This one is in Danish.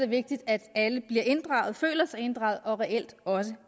vigtigt at alle føler sig inddraget og reelt også